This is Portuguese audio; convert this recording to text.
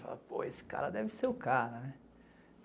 Pô, esse cara deve ser o cara, né?